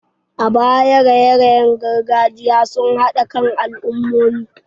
A baya, raye-rayen gargajiya sun haɗa kan al'ummomi.